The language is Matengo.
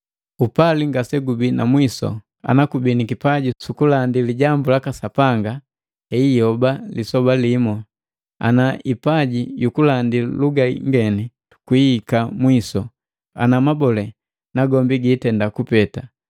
Upali ngasegubii na mwisu. Ana kubii ni kipaji sukulandi lijambu laka Sapanga, hei hiioba lisoba limu, ana ipaji yukulandi luga ingeni, kwiihika mwisu, ana na mabole nagombi giitenda kupeta.